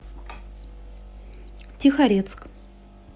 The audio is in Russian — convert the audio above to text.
тихорецк